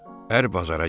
Ər bazara getdi.